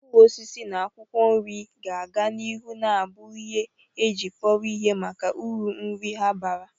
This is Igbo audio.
Mkpụrụ osisi na akwụkwọ nri ga-aga n'ihu na-abu ihe eji kpọrọ ihe maka uru nri ha bara